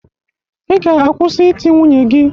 Ị ga-akwụsị iti nwunye gị